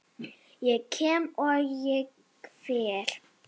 Ég kem, og ég fer.